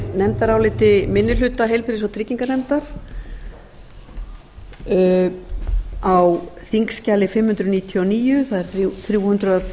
nefndaráliti minni hluta heilbrigðis og trygginganefndar á þingskjali fimm hundruð níutíu og níu það er þrjú hundruð